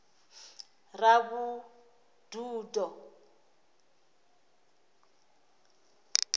ravhududo